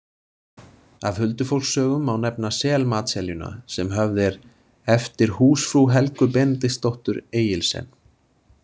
Af huldufólkssögum má nefna Selmatseljuna sem höfð er „eftir húsfrú Helgu Benediktsdóttur Egilsen“.